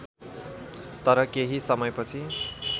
तर केही समयपछि